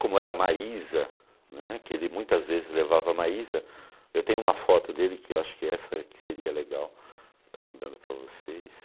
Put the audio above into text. Como era a Maísa né, que ele muitas vezes levava a Maísa, eu tenho uma foto dele que eu acho que seria legal estar mandando para vocês.